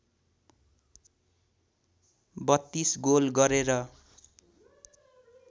३२ goal गरेर